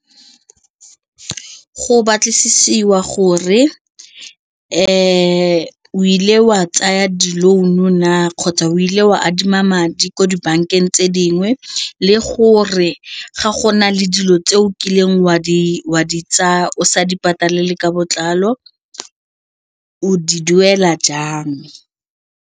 Go batlisiwa gore o ile wa tsaya di-loan-o na kgotsa o ile o wa adima madi ko dibankeng tse dingwe le gore ga go na le dilo tse o kileng wa di tsaya o sa di patale ka botlalo o di duela jang.